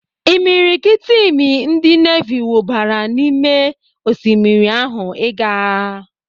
Imiriikiti imi ndị nevi wubara n'ime osimmiri ahụ ịga agha.